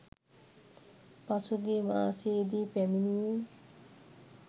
පසුගිය මාසයේදී පැමිණියේ